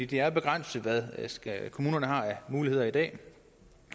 det er begrænset hvad kommunerne har af muligheder i dag